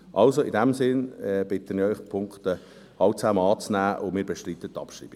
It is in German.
Also, in diesem Sinn bitte ich Sie, alle Punkte anzunehmen, und wir bestreiten die Abschreibung.